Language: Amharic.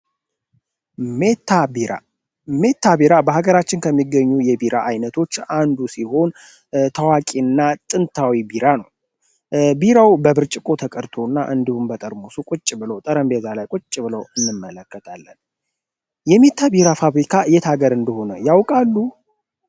ሚታ ቢራ፤ ማታ ቢራ በሀገራችን ከሚገኙ የቢራ አይነቶች አንዱ ሲሆን ታዋቂ እና ጥንታዊ ቢራ ነዉ። ቢራው በብርጭቆ ተቀድቶ እና እንዲሁም በጠርሙሱ ጠረቤዛ ላይ ቁጭ ብሎ እንመለከታለን። የሜታ ቢራ ፋብሪካ የት ሀገር እኝደሆነ ያዉቃሉ?